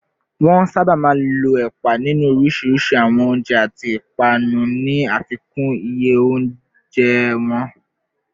Wọ́n sábà máa ń lo ẹ̀pà nínú oríṣiríṣi àwọn oúnjẹ àti ìpápánu, ní àfikún iye oúnjẹ wọn